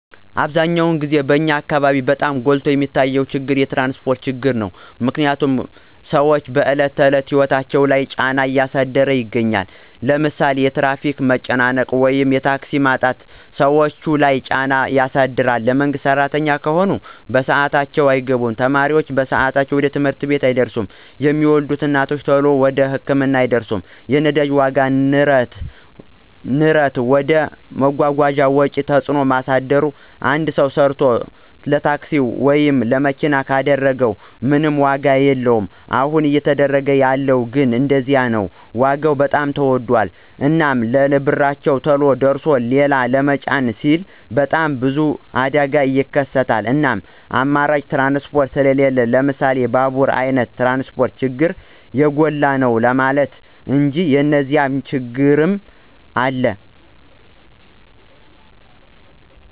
አብዛኛውን ግዜ በኛ አካበቢ በጣም ጎልቶ የሚታየው ችግር የትራንስፖርት ችግር ነው። ምክንያትም ስዎች በዕለት ተዕለት ህይወታቸው ላይ ጫና እያሳደረ ይገኛል። ለምሳሌ የትራፊክ መጨናነቅ ወይም የታክሲ ማጣት ሰዎች ለይ ጫና ያሳድር የመንግስት ስራተኞች ከሆኑ በስአታቸው አይገቡም፣ ተማሪ በሰአቱ ወደ ትምህርት ቤት አይደርስም፣ የሚወልዱ እናቶች ተሎ ወደ ህክምና አይደርሱም። የነዳጅ ዋጋ ንረት ወደ መጓጓዣ ወጪ ተጽዕኖ ማሳደር አንድ ሰው ሰርቶ ለታክሲ ወይም ለመኪና ካደረገው ምንም ዋጋ የለወም አሁን እየተደረገ ያለው ግን እንደዚያ ነው ዋጋ በጣም ተወዶል። እናም ለብርቸው ተሎ አድርሶ ሊላ ለመጫን ሲሉ በጣም ብዙ አደጋ ይከሰታል እናም አማራጭ ትራንስፖርት ስሊለን ለምሳሌ ባቡራ አይነት ትራንስፖርት ችግሩ የጎላ ነው ለማለት እንጂ የኒዚያ ችግሮችም አሉ።